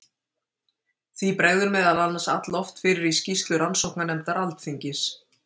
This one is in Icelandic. því bregður meðal annars alloft fyrir í skýrslu rannsóknarnefndar alþingis